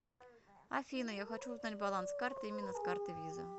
афина я хочу узнать баланс карты именно с карты виза